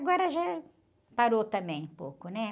Agora já parou também um pouco.